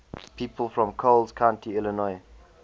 people from coles county illinois